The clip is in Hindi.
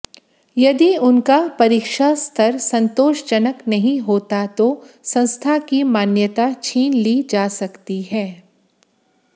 यदि उनका परीक्षास्तर संतोषजनक नहीं होता तो संस्था की मान्यता छीन ली जा सकती है